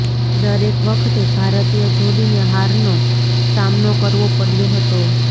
દરેક વખતે ભારતીય જોડીને હારનો સામનો કરવો પડ્યો હતો